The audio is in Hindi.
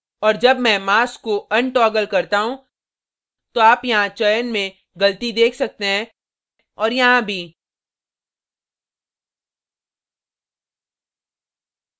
और जब मैं mask को अनटॉगल करता हूँ तो आप यहाँ चयन में गलती देख सकते हैं और यहाँ भी